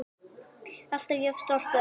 Alltaf jafn stoltur af þeim.